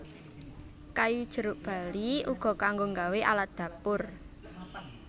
Kayu jeruk bali uga kanggo nggawe alat dapur